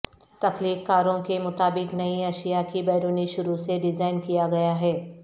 تخلیق کاروں کے مطابق نئی اشیاء کی بیرونی شروع سے ڈیزائن کیا گیا ہے